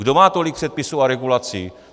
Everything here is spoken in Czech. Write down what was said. Kdo má tolik předpisů a regulací?